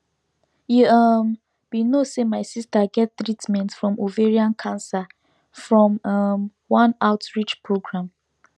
you um be no say my sister get treatment from ovarian cancer from um one outreach program